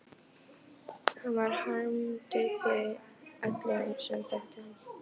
Hann varð harmdauði öllum sem þekktu hann.